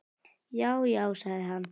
Já, já sagði hann.